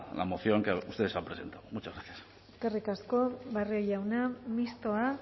la moción que ustedes han presentado muchas gracias eskerrik asko barrio jauna mistoa